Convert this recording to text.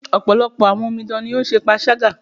Ọ̀pọ̀lọpọ̀ àwọn omidan ní o ń ṣe panṣágà.